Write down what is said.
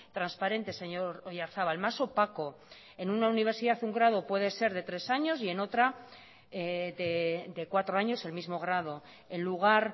transparente señor oyarzabal más opaco en una universidad un grado puede ser de tres años y en otra de cuatro años el mismo grado en lugar